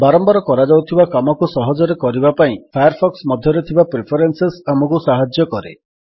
ବାରମ୍ୱାର କରାଯାଉଥିବା କାମକୁ ସହଜରେ କରିବା ପାଇଁ ଫାୟାରଫକ୍ସ ମଧ୍ୟରେ ଥିବା ପ୍ରିଫରେନ୍ସେସ୍ ଆମକୁ ସାହାଯ୍ୟ କରେ